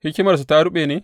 Hikimarsu ta ruɓe ne?